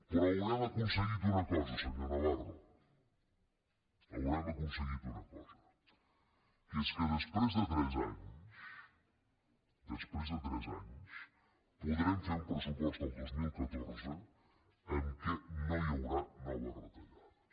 però haurem aconseguit una cosa senyor navarro haurem aconseguit una cosa que és que després de tres anys després de tres anys podrem fer un pressupost el dos mil catorze en què no hi haurà noves retallades